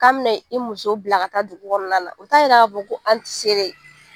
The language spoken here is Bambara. K'an b ne 'i muso bila ka taa dugu kɔnɔna na , o ta yira ka fɔ ko an ti se dɛ!